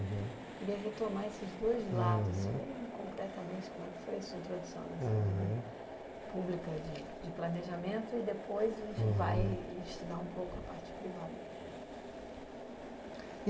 uhum Eu queria retomar esses dois lados, uhum bem concretamente, como é que foi a sua introdução aham nessa vida pública de planejamento e, depois, aham a gente vai estudar um pouco a parte privada.